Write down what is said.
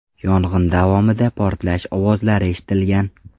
Yong‘in davomida portlash ovozlari eshitilgan.